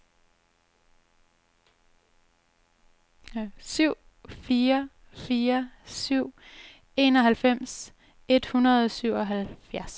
syv fire fire syv enoghalvfems et hundrede og syvoghalvfjerds